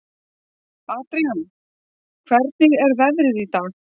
Adrian, hvernig er veðrið í dag?